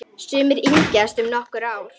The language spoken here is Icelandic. Sumir yngjast um nokkur ár.